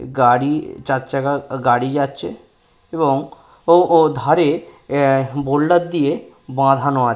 গাড়ি চার চাকা গাড়ি যাচ্ছে এবং ও ও ধারে বোল্ডার দিয়ে বাঁধানো আছে।